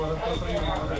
Qəsdən gəlib.